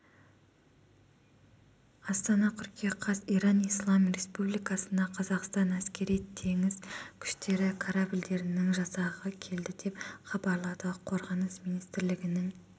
астана қыркүйек қаз иран ислам республикасына қазақстан әскери-теңіз күштері корабльдерінің жасағы келді деп хабарлады қорғаныс министрлігінің